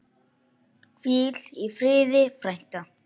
Hvíl í friði, frænka.